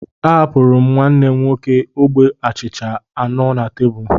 A hapuru m nwanne m nwoke ogbe achịcha anọ na tebụl